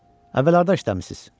Əvvəllər harda işləmisiz?